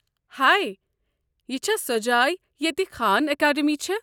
ہے، یہِ چھا سۄ جاے ییٚتہِ خان اکادمی چھےٚ؟